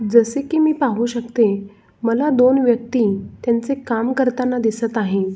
जसे की मी पाहू शकते मला दोन व्यक्ति त्यांच काम करताना दिसत आहेत.